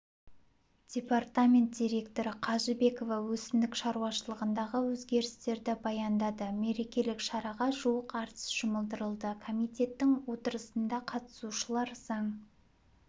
департамент директоры қажыбекова өсімдік шаруашылығындағы өзгерістерді баяндады мерекелік шараға жуық әртіс жұмылдырылды комитеттің отырысына қатысушылар заң